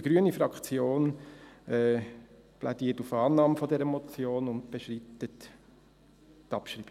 Die grüne Fraktion plädiert auf Annahme dieser Motion und bestreitet die Abschreibung.